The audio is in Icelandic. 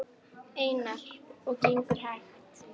Einar: Og gengur hægt?